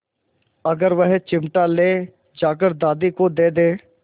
अगर वह चिमटा ले जाकर दादी को दे दे